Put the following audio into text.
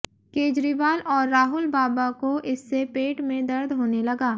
केजरीवाल और राहुल बाबा को इससे पेट में दर्द होने लगा